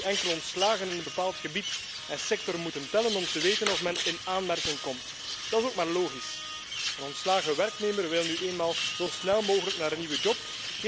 Men zal nu alleen ontslagen in een bepaald gebied en sector moeten tellen om te weten of men in aanmerking komt. Dat is ook maar logisch een ontslagen werknemer wil nu eenmaal zo snel mogelijk een nieuwe baan.